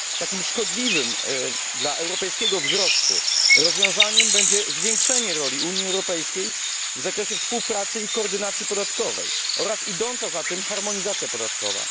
Takim szkodliwym dla europejskiego wzrostu rozwiązaniem będzie zwiększenie roli Unii Europejskiej w zakresie współpracy i koordynacji podatkowej, oraz idąca za tym harmonizacja podatkowa.